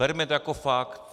Berme to jako fakt.